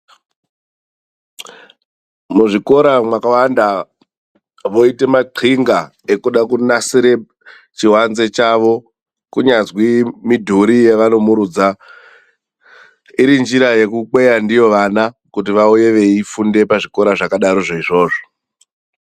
Muzvikora mwakawanda voita maxinga ekuda kunasire chiwanze chavo. Kunyazwi midhori yevanomirudza, iri njira yekukweya ndiyo vana kuti vauye veifunda pazvikora zvakadarozvo izvozvo.